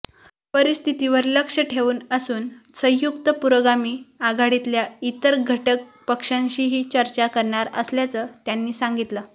परिस्थितीवर लक्ष ठेवून असून संयुक्त् पुरोगामी आघाडीतल्या इतर घटक पक्षांशीही चर्चा करणार असल्याचं त्यांनी सांगितलं